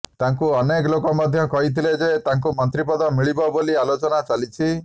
ତାଙ୍କୁ ଅନେକ ଲୋକ ମଧ୍ୟ କହିଥିଲେ ଯେ ତାଙ୍କୁ ମନ୍ତ୍ରୀ ପଦ ମିଳିବ ବୋଲି ଆଲୋଚନା ଚାଲିଛି